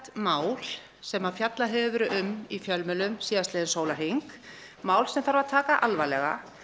mál sem fjallað hefur verið um í fjölmiðlum síðastliðinn sólarhring mál sem þarf að taka alvarlega